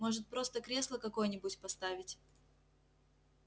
может просто кресло какое-нибудь поставить